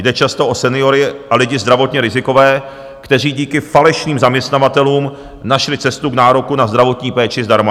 Jde často o seniory a lidi zdravotně rizikové, kteří díky falešným zaměstnavatelům našli cestu k nároku na zdravotní péči zdarma.